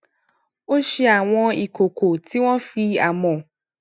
ó ṣe àwọn ìkòkò tí wón fi amò